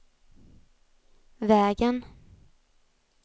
vägen